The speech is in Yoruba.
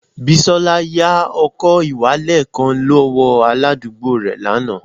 Bisola ya ọkọ-ìwalẹl kan lọwọ aladugbo rẹ lana